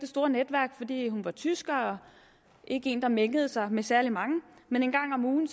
store netværk fordi hun var tysker og ikke en der mængede sig med særlig mange men en gang om ugen